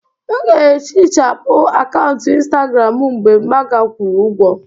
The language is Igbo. M ga-ehichapụ akaụntụ Instagram m mgbe maga kwụrụ ụgwọ